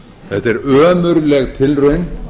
þetta er ömurleg tilraun